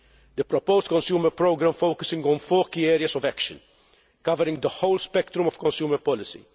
The proposed Consumer Programme focuses on four key areas of action, covering the whole spectrum of consumer policy.